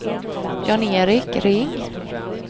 Jan-Erik Ring